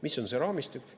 Mis on see raamistik?